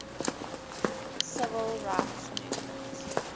civil rights movement